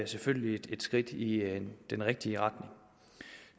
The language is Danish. selvfølgelig et skridt i den rigtige retning